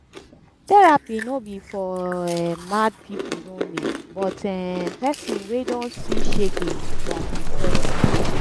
therapy no bi for um mad pipo only but um pesin wey don see shege from depression